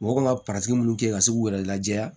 Mɔgɔ kan ka minnu kɛ ka se k'u yɛrɛ lajɛya